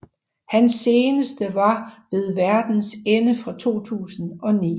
Hans seneste var Ved Verdens Ende fra 2009